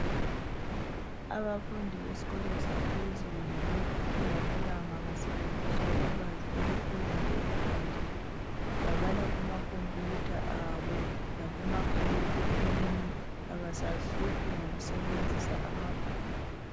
Abafundi besikolo saphezulu kulamalanga basebenzisa ulwazi oluphezulu ekufundeni. Babala kuma khompiyutha abo lakubomakhalekhukhwini. Abasazihluphi ngokusebenzisa amabhuku.